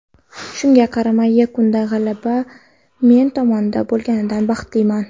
Shunga qaramay, yakunda g‘alaba men tomonda bo‘lganidan baxtliman.